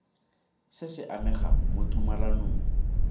se se amegang mo tumalanong